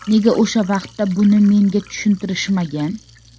Nega o‘sha vaqtda buni menga tushuntirishmagan?